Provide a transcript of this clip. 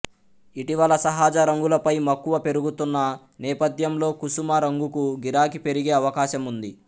ఇటీవల సహజ రంగులపై మక్కువ పెరుగుతున్న నేపథ్యంలో కుసుమ రంగుకు గిరాకీ పెరిగే అవకాశముంది